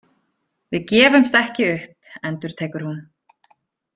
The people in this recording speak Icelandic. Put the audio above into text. Við gefumst ekki upp, endurtekur hún.